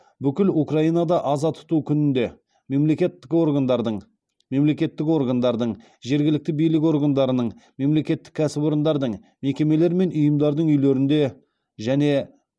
бүкіл украинада аза тұту күнінде мемлекеттік органдардың мемлекеттік органдардың жергілікті билік органдарының мемлекеттік кәсіпорындардың мекемелер мен ұйымдардың үйлерінде және